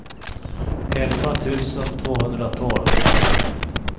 elva tusen tvåhundratolv